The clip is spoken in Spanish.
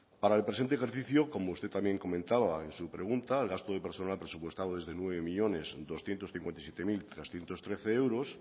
para el presente ejercicio como usted también comentaba en su pregunta el gasto de personal presupuestado es de nueve millónes doscientos cincuenta y siete mil trescientos trece euros